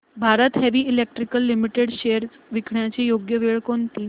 Bharat heavy electricals limited shares विकण्याची योग्य वेळ कोणती